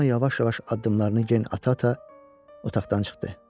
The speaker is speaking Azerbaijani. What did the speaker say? Ramona yavaş-yavaş addımlarını gen ata-ata otaqdan çıxdı.